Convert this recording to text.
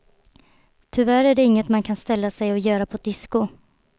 Tyvärr är det inget man kan ställa sig och göra på ett disco.